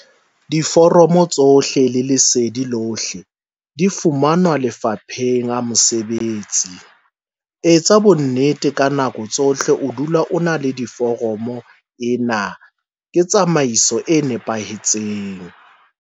Diforomo tsohle le lesedi lohle di fumanwa Lefapheng a Mesebetsi. Etsa bonnete hore ka nako tsohle o dula o ena le diforomo - ena ke tsamaiso e nepahetseng.